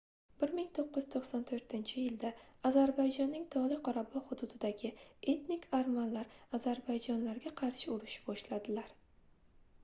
1994-yilda ozarbayjonning togʻli qorabogʻ hududidagi etnik armanlar ozarbayjonlarga qarshi urush boshladilar